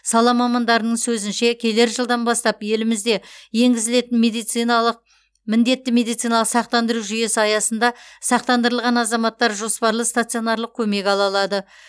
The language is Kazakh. сала мамандарының сөзінше келер жылдан бастап елімізде енгізілетін медициналық міндетті медициналық сақтандыру жүйесі аясында сақтандырылған азаматтар жоспарлы стационарлық көмек ала алады